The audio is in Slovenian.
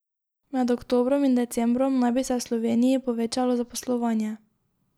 Med oktobrom in decembrom naj bi se v Sloveniji povečalo zaposlovanje.